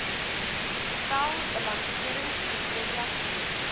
stel balanseringskriteria gemeet